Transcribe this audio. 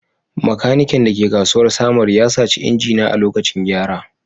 Maikanikan da ke kasuwar Samaru ya saci injina a lokacin gyara